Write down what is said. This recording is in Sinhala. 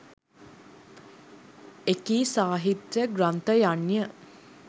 එකී සාහිත්‍ය ග්‍රන්ථයන්ය.